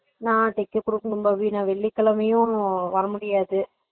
நா தைக்க குடுக்கணும் பாவி நா வெள்ளிக்கிழமையும் வரமுடியாது